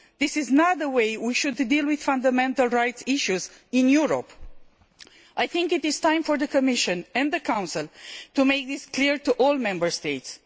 This is not the way we should deal with fundamental rights issues in Europe. I think it is time for the Commission and the Council to make this clear to all Member States.